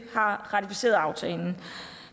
har ratificeret aftalen